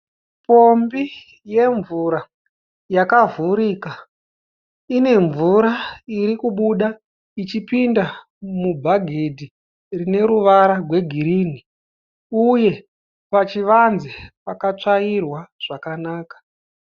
Pombi yemvura yakavhurika ine mvura iri kubuda ichipinda mubhageti rine ruvara gwegirinhi uye pachivanze pakatsvairwa zvakanaka.